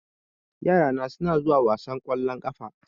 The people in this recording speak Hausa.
Yara na suna wasan ƙwallon ƙafa